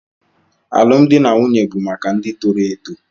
Alụmdi na nwunye bụ maka ndị toro eto.